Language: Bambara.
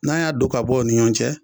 N'an y'a don ka bɔ u ni ɲɔn cɛ